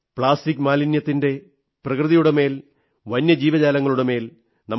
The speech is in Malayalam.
പ്ലാസ്റ്റിക് മാലിന്യത്തിന്റെ പ്രകൃതിയുടെ മേൽ വന്യജീവജാലങ്ങളുടെ മേൽ നമ്മുടെ